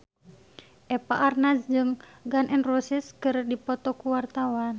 Eva Arnaz jeung Gun N Roses keur dipoto ku wartawan